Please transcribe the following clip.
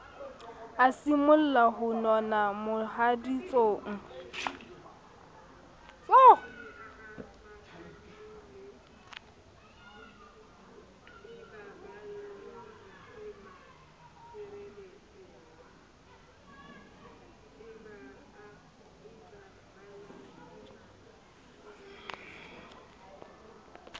a simolla ho nona mohaditsong